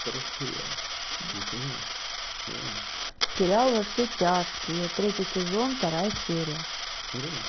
сериал во все тяжкие третий сезон вторая серия